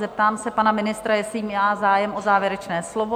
Zeptám se pana ministra, jestli má zájem o závěrečné slovo?